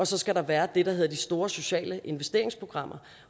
så skal der være det der hedder de store sociale investeringsprogrammer